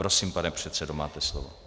Prosím, pane předsedo, máte slovo.